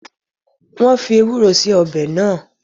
Wọn fii Ewúró síí ọbẹ̀ náà